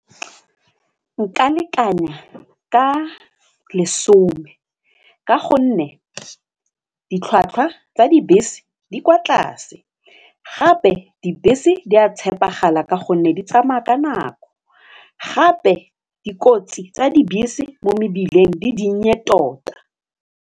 Nka lekanya ka lesome ka gonne ditlhwatlhwa tsa dibese di kwa tlase gape dibese di a tshepegala ka gonne di tsamaya ka nako gape dikotsi tsa dibese mo mebileng di dinnye tota.